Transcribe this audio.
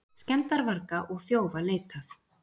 Skemmdarvarga og þjófa leitað